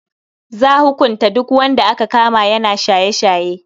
Za hukunta duk wanda aka kama yana shaye-shaye.